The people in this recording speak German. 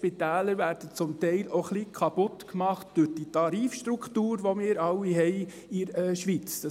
Die Spitäler werden zum Teil auch ein bisschen durch die Tarifstruktur kaputtgemacht, die wir in der Schweiz alle haben;